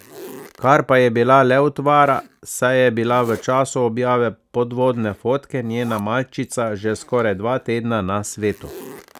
Kar pa je bila le utvara, saj je bila v času objave podvodne fotke njena malčica že skoraj dva tedna na svetu.